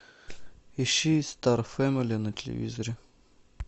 ищи стар фэмили на телевизоре